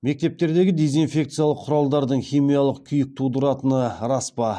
мектептердегі дезинфекциялық құралдардың химиялық күйік тудыратыны рас па